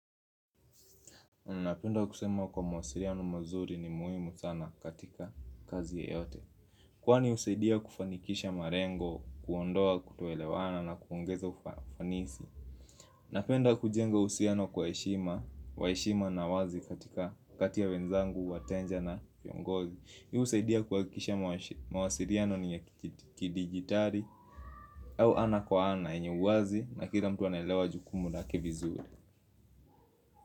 Napenda kusema kwa mawasiliano mazuri ni muhimu sana katika kazi yeyote. Kwani husaidia kufanikisha malengo, kuondoa kutoelewana na kuongeza ufanisi. Napenda kujenga uhusiano kwa heshima, wa heshima na wazi katika kati ya wenzangu, wateja na viongozi hii husaidia kuhakikisha mawasiliano ni ya kidijitali au ana kwa ana yenye uwazi na kila mtu anaelewa jukumu lake vizuri.